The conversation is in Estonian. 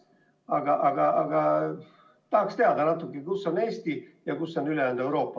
Aga tahaksin natuke teada selle kohta, kus on Eesti ja kus on ülejäänud Euroopa.